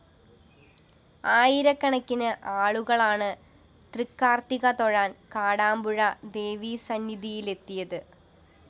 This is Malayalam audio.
ആയിരക്കണക്കിന് ആളുകളാണ് തൃക്കാര്‍ത്തിക തൊഴാന്‍ കാടാമ്പുഴ ദേവീസന്നിധിയിലെത്തിയത്